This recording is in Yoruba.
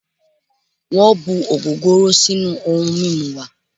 Wọn bu ogogoro sinu oun mimu wa